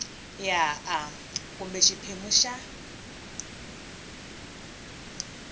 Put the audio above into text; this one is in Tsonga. ya a kumbe xiphemu xa